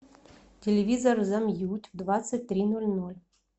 телевизор замьють в двадцать три ноль ноль